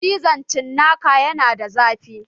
Cizon cinnaka yana da zafi